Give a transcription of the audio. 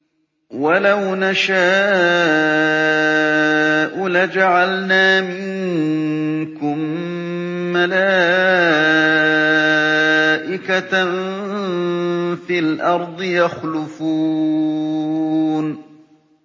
وَلَوْ نَشَاءُ لَجَعَلْنَا مِنكُم مَّلَائِكَةً فِي الْأَرْضِ يَخْلُفُونَ